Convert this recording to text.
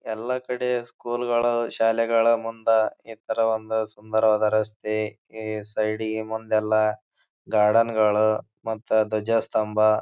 ಎಲ್ಲ ಕಡೆ ಸ್ಕೂಲ್ ಗಳು ಶಾಲೆಗಳ ಮುಂದ ಈ ತರ ಒಂದ ಸುಂದರವಾದ ರಸ್ತೆ ಈ ಸೈಡ್ ಇಗೆ ಮುಂದೆಲ್ಲ ಗಾರ್ಡೆನ್ ಗಳು ಮತ್ತ ಧ್ವಜ ಸ್ಥಂಬಾ --